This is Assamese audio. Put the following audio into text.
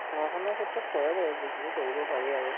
পঢ়া শুনা ক্ষেত্ৰত কৰে বাৰু যিখিনি কৰিব পাৰি আৰু